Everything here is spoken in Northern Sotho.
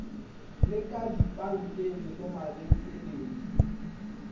le ka dipankeng le mabenkeleng